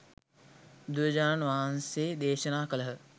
බුදුරජාණන් වහන්සේ දේශනා කළහ.